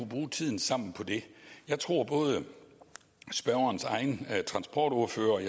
bruge tiden sammen på det jeg tror at både spørgerens egen transportordfører og